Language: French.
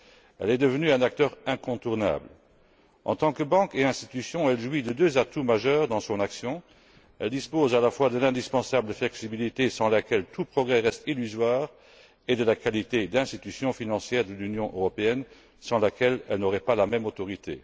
Elle est devenue un acteur incontournable. En tant que banque et institution, elle jouit de deux atouts majeurs dans son action elle dispose à la fois de l'indispensable flexibilité, sans laquelle tout progrès reste illusoire, et de la qualité d'institution financière de l'Union européenne, sans laquelle elle n'aurait pas la même autorité.